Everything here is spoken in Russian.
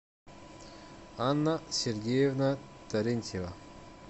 анна сергеевна терентьева